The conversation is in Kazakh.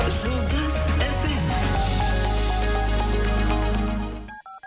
жұлдыз фм